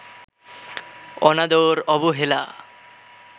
অনাদর, অবহেলা